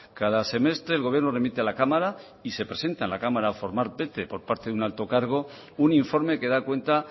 cada semestre el gobierno remite a la cámara y se presenta en la cámara formar por un alto cargo un informe que da cuenta